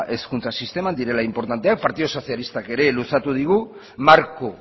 hezkuntza sisteman direla inportanteak partidu sozialistak ere luzatu digu marko